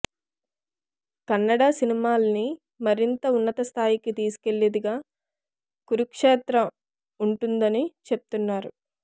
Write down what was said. కన్నడ సినిమాల్ని మరింత ఉన్నత స్థాయికి తీసుకెళ్లేదిగా కురుక్షేత్ర ఉంటుందని చెప్తున్నారు